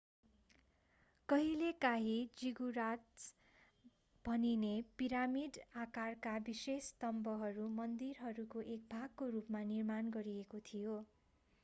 कहिलेकाँही जिगुराट्स भनिने पिरामिड आकारका विशेष स्तम्भहरू मन्दिरहरूको एक भागको रूपमा निर्माण गरिएको थियो